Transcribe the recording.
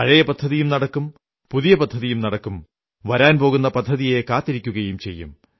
പഴയ പദ്ധതിയും നടക്കും പുതിയ പദ്ധതിയും നടക്കും വരാൻ പോകുന്ന പദ്ധതിയെ കാത്തിരിക്കയും ചെയ്യും